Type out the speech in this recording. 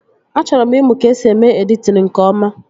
A chọrọ m ịmụ ka esi eme editin nke ọma